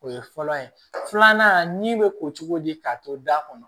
O ye fɔlɔ ye filanan ni bɛ ko cogo di k'a to da kɔnɔ